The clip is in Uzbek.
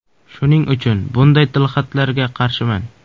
Shuning uchun bunday tilxatlarga qarshiman.